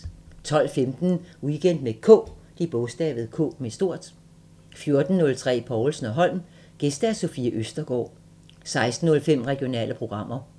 12:15: Weekend med K 14:03: Povlsen & Holm: Gæst Sofie Østergaard 16:05: Regionale programmer